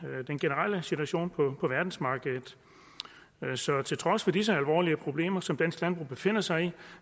og den generelle situation på verdensmarkedet så til trods for disse alvorlige problemer som dansk landbrug befinder sig i